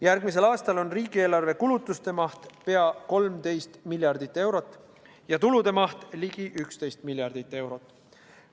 Järgmisel aastal on riigieelarve kulutuste maht pea 13 miljardit eurot ja tulude maht ligi 11 miljardit eurot.